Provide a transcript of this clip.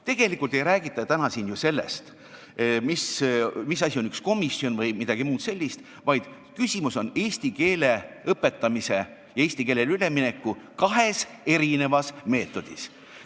Tegelikult ei räägita täna siin ju sellest, mis asi on üks komisjon vms, vaid küsimus on eesti keele õpetamise, eesti keelele ülemineku kahes erinevas meetodis.